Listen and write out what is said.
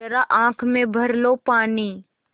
ज़रा आँख में भर लो पानी